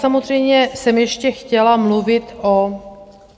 Samozřejmě jsem ještě chtěla mluvit o...